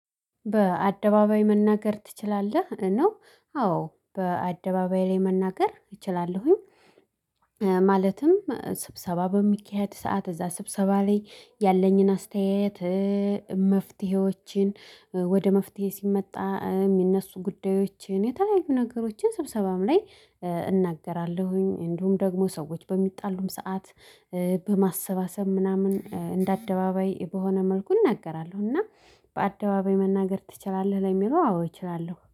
በአደባባይ መናገር ትችላለህ? ነው አዎ በአደባባይ ላይ መናገር እችላለሁኝ። ማለትም ስብሰባ በሚካሄድ ሰዓት እዛ ስብሰባ ላይ ያለኝን አስተያየት መፍትሄዎችን ወደ መፍትሄ ሲመጣ የሚነሱ ጉዳዮችን የተለያዩ ነገሮችን ስብሰባም ላይ። እናገራለሁኝ እንዲሁም ደግሞ ሰዎች በሚጣሉም ሰዓት በማሰባሰብ ምናምን እንደ አደባባይ በሆነ መልኩ እናገራለሁ። እና በአደባባይ መናገር ትችላለህ? ለሚለው አዎ እችላለሁ